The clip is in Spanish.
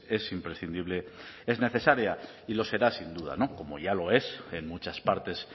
es imprescindible es necesaria y los será sin duda como ya lo es en muchas partes